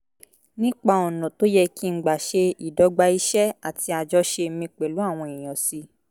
nípa ọ̀nà tó yẹ kí n gbà ṣe ìdọ́gba iṣẹ́ àti àjọṣe mi pẹ̀lú àwọn èèyàn sí